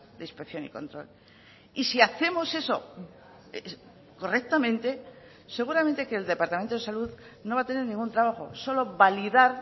de inspección y control y si hacemos eso correctamente seguramente que el departamento de salud no va a tener ningún trabajo solo validar